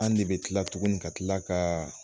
An de be kila tuguni ka kila kaa